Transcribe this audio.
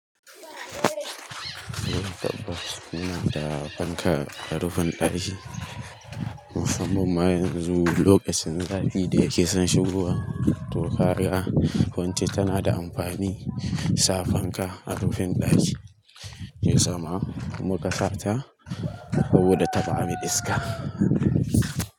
Muna da fanka a rufin ɗaki musamman ma yanzu lokacin zafi da yake son shigowa to kaga kwance tana da amfani sa fanka a rufin ɗaki. He ya sa ma? Mu kasarta saboda ta bamu iska.